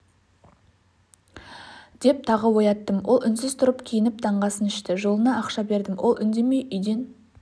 деп тағы ояттым ол үнсіз тұрып киініп таңғы асын ішті жолына ақша бердім ол үндемей үйден